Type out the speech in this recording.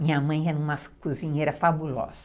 Minha mãe era uma cozinheira fabulosa.